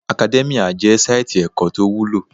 Academia jẹ́ sáìtì ẹ̀kọ́ tó wúlò